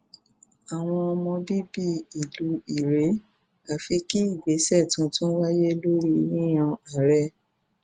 àwọn ọmọ bíbí ìlú irèé àfi kí ìgbésẹ tuntun wáyé lórí yíyan aree